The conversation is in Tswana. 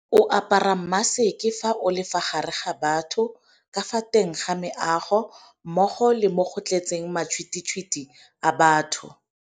O apara maseke fa o le fa gare ga batho ka fa teng ga meago mmogo le mo go tletseng matšhwititšhwiti a batho.